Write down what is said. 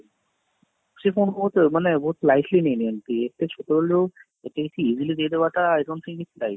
ସେ କଣ ବହୁତ ମାନେ ବହୁତ lightly ନେଇ ନିଅନ୍ତି, ଏତେ ଛୋଟ ବେଳୁ ଏତେ ଏମିତି easily ଦେଇ ଦେବାଟା i don't think it right